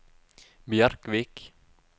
Bjerkvik